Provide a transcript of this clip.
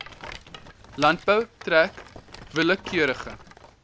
landbou trek willekeurige